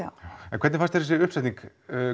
en hvernig fannst þér þessi uppsetning